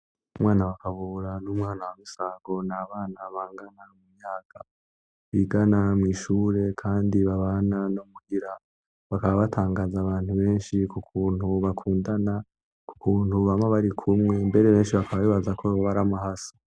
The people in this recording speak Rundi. Umwana wa Kabura, n'umwana wa Misago, ni abana bangana mu myaka, bigana mw'ishure kandi babana no muhira, bakaba batangaza abantu benshi k'ukuntu bakundana, k'ukuntu bama bari kumwe, mbere benshi bakaba bibaza ko boba ari amahasa.